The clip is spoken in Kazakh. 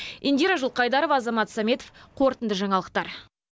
индира жылқайдарова азамат сәметов қорытынды жаңалықтар